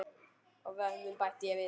Og vötnin bætti ég við.